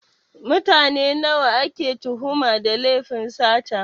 Mutane nawa ake tuhuma da lefin sata?